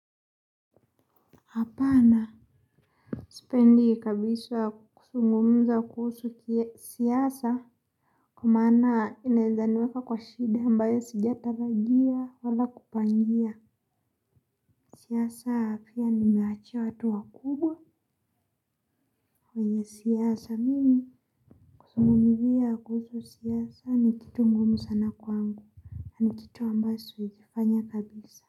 Hapana sipendi kabisa kuzungumza kuhusu siasa. Kwa maana inaeza niweka kwa shida ambayo sijatalajia wala kupangia. Siasa afya nimeachia watu wakubwa. Kwenye siasa mimi kuzungumzia kuhusu siasa ni kitu ngumu sana kwangu ni kitu ambayo siwezi fanya kabisa.